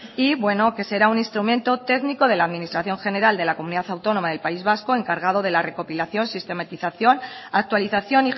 y bueno que será un instrumento técnico de la administración general de la comunidad autónoma del país vasco encargado de la recopilación sistematización actualización